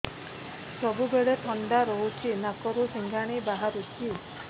ସବୁବେଳେ ଥଣ୍ଡା ରହୁଛି ନାକରୁ ସିଙ୍ଗାଣି ବାହାରୁଚି